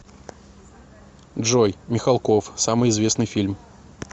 джой михалков самыи известныи фильм